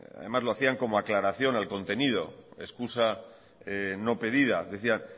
además lo hacían como aclaración al contenido excusa no pedida decían